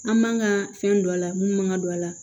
An man ka fɛn don a la mun man ka don a la